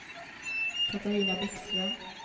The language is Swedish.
Catarina Bäckström